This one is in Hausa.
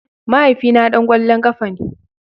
Mahaifina dan kwallon kafa ne.